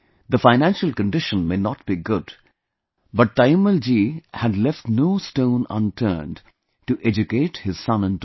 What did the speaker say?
The financial condition may not be good, but Taimmal ji had left no stone unturned to educate her son and daughter